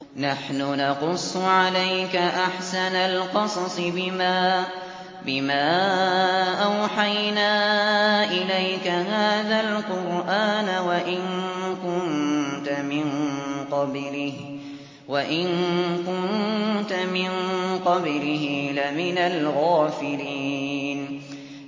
نَحْنُ نَقُصُّ عَلَيْكَ أَحْسَنَ الْقَصَصِ بِمَا أَوْحَيْنَا إِلَيْكَ هَٰذَا الْقُرْآنَ وَإِن كُنتَ مِن قَبْلِهِ لَمِنَ الْغَافِلِينَ